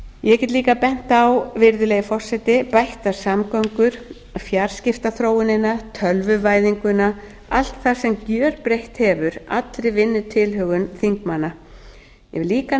forseti ég get líka bent á bættar samgöngur fjarskiptaþróunina tölvuvæðinguna allt það sem gjörbreytt hefur allri vinnutilhögun þingmanna ég vil líka